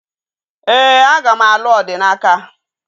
Ee, aga m alụ Odinaka